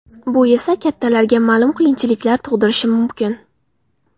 Bu esa kattalarga ma’lum qiyinchiliklar tug‘dirishi mumkin.